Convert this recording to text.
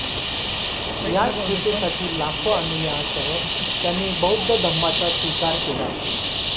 याच हेतूसाठी लाखो अनुयायांसह त्यांनी बौद्ध धम्माचा स्वीकार केला